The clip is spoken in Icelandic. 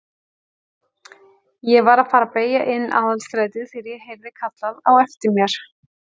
Ég var að fara að beygja inn Aðalstrætið þegar ég heyrði kallað á eftir mér.